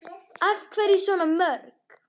Af hverju svona mörg?